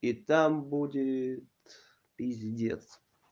и там будет пиздец